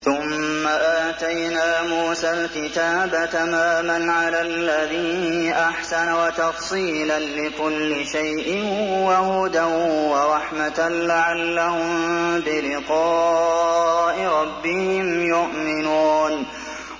ثُمَّ آتَيْنَا مُوسَى الْكِتَابَ تَمَامًا عَلَى الَّذِي أَحْسَنَ وَتَفْصِيلًا لِّكُلِّ شَيْءٍ وَهُدًى وَرَحْمَةً لَّعَلَّهُم بِلِقَاءِ رَبِّهِمْ يُؤْمِنُونَ